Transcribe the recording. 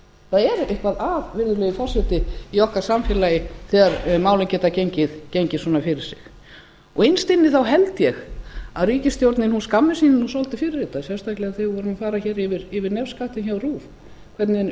það er eitthvað að virðulegi forseti í okkar samfélagi þegar málin geta gengið svona fyrir sig innst inni þá held ég að ríkisstjórnin skammist sín svolítið fyrir þetta sérstaklega þegar við vorum að fara hér yfir nefskattinn hjá rúv hvernig